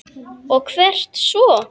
Og hvert svo?